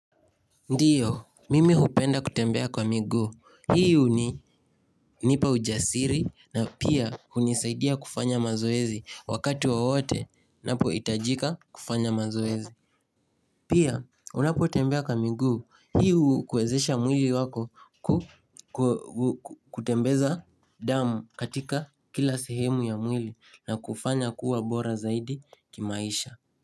Ndiyo, mimi hupenda kutembea kwa miguu, hii huni nipa ujasiri na pia hunisaidia kufanya mazoezi wakati wowote napohitajika kufanya mazoezi Pia, unapotembea kwa miguu, hii hukwezesha mwili wako ku ku kutembeza damu katika kila sehemu ya mwili na kufanya kuwa bora zaidi kimaisha.